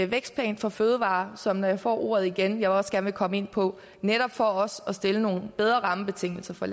vækstplan for fødevarer som jeg når jeg får ordet igen også gerne vil komme ind på netop for også at stille nogle bedre rammebetingelser for